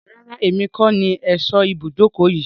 Rárá, èmi kọ ní ẹ̀sọ́ ibùdókọ̀ yìí.